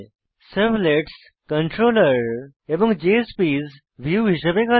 servlets controller এবং JSPs view হিসেবে কাজ করে